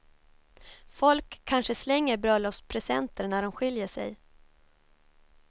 Folk kanske slänger bröllopspresenter när de skiljer sig.